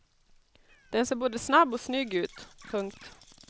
Den ser både snabb och snygg ut. punkt